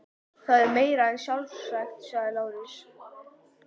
Það er meira en sjálfsagt, sagði Lárus.